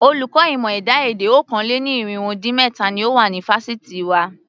Olùkọ́ ìmọ̀ ẹ̀dá-èdè okòó-lé-ní-irínwó-dín-méta ni ó wà ní fásitì wa.